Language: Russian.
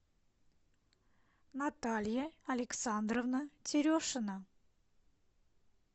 наталья александровна терешина